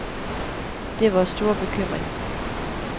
Det er vores store bekymring.